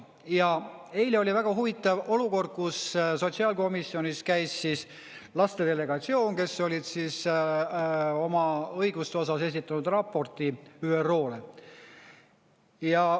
Ja eile oli väga huvitav olukord, kus sotsiaalkomisjonis käis laste delegatsioon, kes olid oma õiguste osas esitatud raporti ÜRO-le.